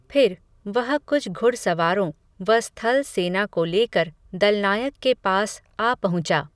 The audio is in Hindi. फिर, वह कुछ घुड़सवारों, व स्थल सेना को लेकर, दलनायक के पास, आ पहुँचा